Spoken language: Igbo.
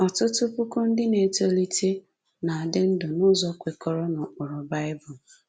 Ọtụtụ puku ndị na-etolite na-adị ndụ n’ụzọ kwekọrọ n’ụkpụrụ Bible